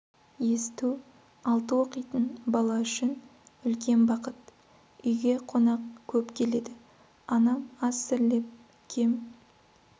есту алты оқитын бала үшін үлкен бақыт үйге қонақ көп келеді анам ас зірлеп кем